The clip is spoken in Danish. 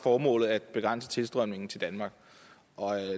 formålet at begrænse tilstrømningen til danmark